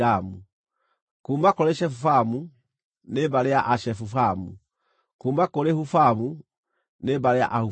kuuma kũrĩ Shefufamu, nĩ mbarĩ ya Ashefufamu; kuuma kũrĩ Hufamu, nĩ mbarĩ ya Ahufamu.